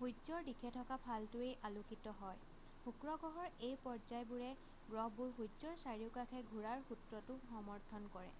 সূৰ্যৰ দিশে থকা ফালটোৱেই আলোকিত হয়। শুক্ৰ গ্ৰহৰ এই পৰ্যায়বোৰে গ্ৰহবোৰ সূৰ্যৰ চাৰিওকাষে ঘূৰাৰ সূত্ৰটো সমৰ্থন কৰে।